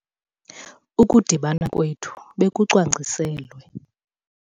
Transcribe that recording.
Ukudibana kwethu bekucwangciselwe.